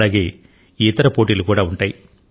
అలాగే ఇతర పోటీలు కూడా ఉంటాయి